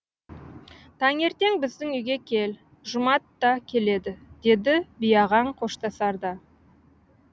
таңертең біздің үйге кел жұмат та келеді деді биағаң қоштасарда